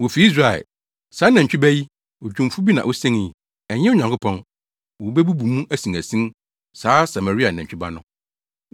Wofi Israel! Saa nantwi ba yi, odwumfo bi na osenii; ɛnyɛ Onyankopɔn! Wobebubu mu asinasin, saa Samaria nantwi ba no.